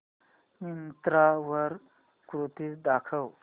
मिंत्रा वर कुर्तीझ दाखव